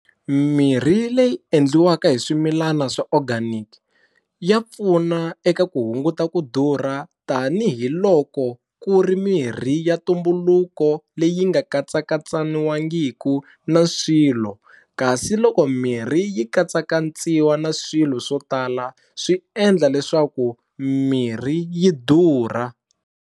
Mirhi leyi endliwaka hi swimilana swa organic ya pfuna eka ku hunguta ku durha tanihiloko ku ri mirhi ya ntumbuluko leyi nga katsakatsaniwangiku na swilo kasi loko mirhi yi katsakatsiwa na swilo swo tala swi endla leswaku mirhi yi durha.